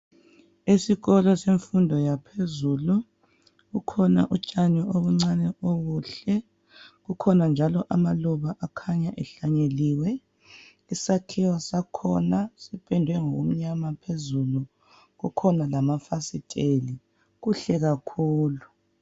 Esikolo semfundo yaphezulu, kukhona utshani obuncane okuhle, kukhona njalo amaluba akhanya ehlanyeliwe. Isakhiwo sakhona sipendwe ngokumnyama phezulu, kukhona lamafasiteli, kuhle kakhulu.